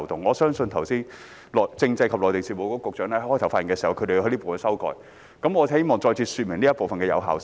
我相信剛才政制及內地事務局局長在開場發言時也提到，他們就這部分提出了修訂。